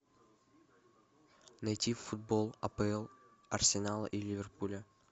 найти футбол апл арсенала и ливерпуля